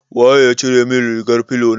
Waye ya cire min rigar filo na?